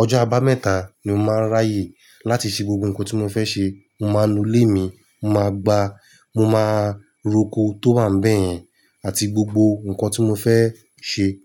Ọjọ́ aba mẹ́ta ni mo máa ń ráyè láti ṣe gbogbo nǹkan tí mo fẹ́ ṣe. Mo máa nu ilé mi, mo màá gba, mo máa roko tó wà níbẹ̀ yẹn àti gbogbo nǹkan tí mo fẹ́ ṣe.